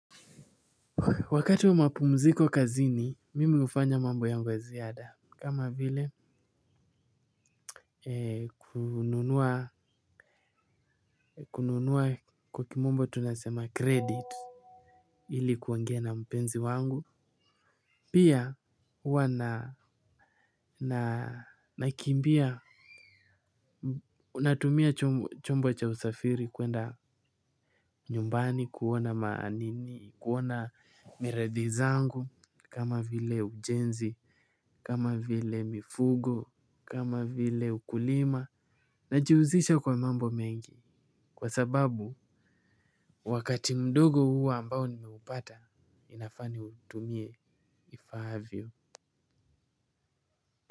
Wakati wa mapumziko kazini, mimi hufanya mambo yangu ya ziada. Kama vile, kununua kwa kimombo tunasema credit. Hili kuongeaa na mpenzi wangu. Pia, huwa nanakimbia. Unatumia chombo cha usafiri kwenda nyumbani, kuona ma nini, kuona miradi zangu. Kama vile ujenzi, kama vile mifugo, kama vile ukulima, najihusisha kwa mambo mengi kwa sababu wakati mdogo huwa ambao nimeupata inafaa niutumie ifaavyo.